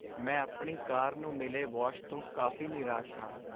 ਮੈਂ ਆਪਣੀ ਕਾਰ ਨੂੰ ਮਿਲੇ ਵਾਸ਼ ਤੋਂ ਕਾਫ਼ੀ ਨਿਰਾਸ਼ ਹਾਂ।